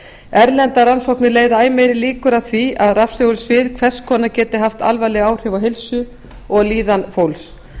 erlendar rannsóknir leiða æ meiri líkur að því að rafsegulsvið hvers konar geti haft alvarleg áhrif á heilsu og líðan fólks